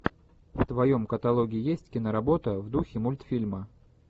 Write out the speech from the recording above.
в твоем каталоге есть киноработа в духе мультфильма